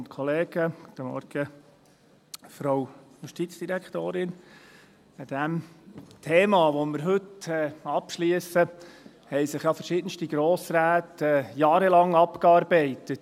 An diesem Thema, das wir heute abschliessen, haben sich ja verschiedenste Grossräte jahrelang abgearbeitet.